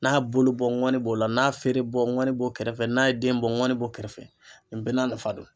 N'a bolo bɔ ŋɔni b'o la n'a feere bɔ ŋɔni bɔ kɛrɛfɛ n'a ye den bɔ ŋɔni bɔ kɛrɛfɛ nin bɛɛ n'a nafa don.